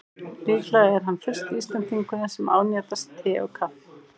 Líklega er hann fyrsti Íslendingurinn sem ánetjast te og kaffi.